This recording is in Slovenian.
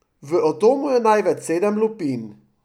V atomu je največ sedem lupin.